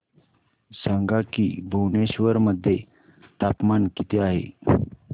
सांगा की भुवनेश्वर मध्ये तापमान किती आहे